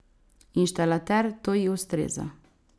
Inštalater, to ji ustreza.